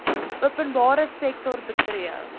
openbare sektor betree